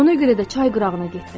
Ona görə də çay qırağına getdim.